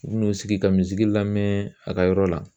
U bi n'u sigi ka lamɛn a ka yɔrɔ la